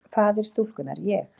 Faðir stúlkunnar: Ég?